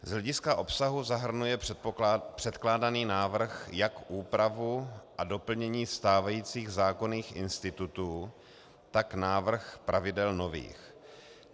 Z hlediska obsahu zahrnuje předkládaný návrh jak úpravu a doplnění stávajících zákonných institutů, tak návrh pravidel nových.